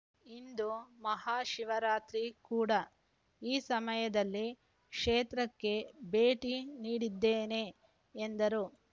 ಇಂದು ಮಹಾಶಿವರಾತ್ರಿ ಕೂಡಾ ಈ ಸಮಯದಲ್ಲಿ ಕ್ಷೇತ್ರಕ್ಕೆ ಭೇಟಿ ನೀಡಿದ್ದೇನೆ ಎಂದರು